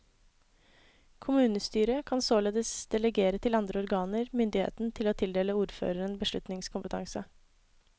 Kommunestyret kan således delegere til andre organer myndigheten til å tildele ordføreren beslutningskompetanse.